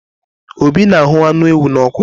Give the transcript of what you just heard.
Obi na ahụ́ anụ ewu na ọ́kụ.